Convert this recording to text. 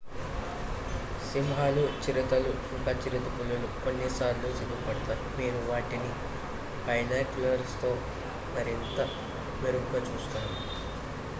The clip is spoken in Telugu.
సింహాలు చిరుతలు ఇంక చిరుతపులులు కొన్నిసార్లు సిగ్గుపడతాయి మీరు వాటిని బైనాక్యులర్స్ తో మరింత మెరుగ్గా చూస్తారు